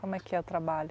Como é que é o trabalho?